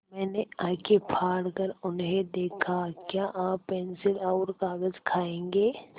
मैंने आँखें फाड़ कर उन्हें देखा क्या आप पेन्सिल और कागज़ खाएँगे